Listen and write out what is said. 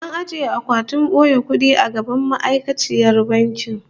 An ajiye akwatin boye kudi a gaban ma'aikaciyar bankin